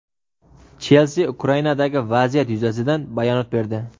"Chelsi" Ukrainadagi vaziyat yuzasidan bayonot berdi.